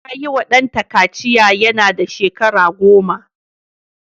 Ta yiwa ɗanta kaciya yana da shekara goma.